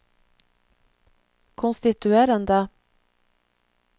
konstituerende